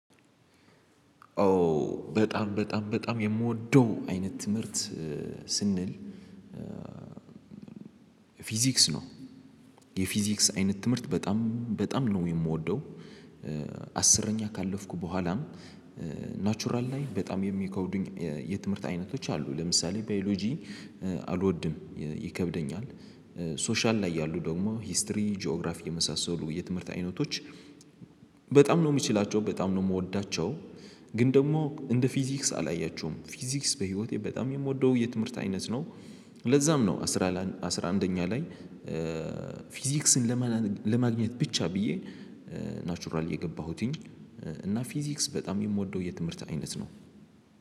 ኦ በጣም በጣም በጣም የምወደው አይነት ትምህርት ስንል ፊዚክስ ነው የፊዚክስ አይነት ትምህርት በጣም በጣም ነው የምወደው። አስረኛ ካለፍኩ በኋላም ናቹራል ላይ በጣም የሚከብዱኝ የትምህርት አይነቶች አሉ ለምሳሌ ባዮሎጂ አልወድም ይከብደኛል። ሶሻል ላይ ያሉ ደግሞ ሂስትሪ ጂኦግራፊ የመሳሰሉ የትምህርት አይነቶች በጣም ነው የምችላቸው በጣም ነው የምወዳቸው። ግን ደግሞ እንደ ፊዚክስ አላያችሁም ፊዚክስ በህይወቴ በጣም የምወደው የትምህርት አይነት ነው። ለዛም ነው አስራ አስራ አንደኛ ላይ ፊዚክስን ለማግኘት ብቻ ብዬ። ናቹራል የገባሁትኝ እና ፊዚክስ በጣም የምወደው የትምህርት አይነት ነው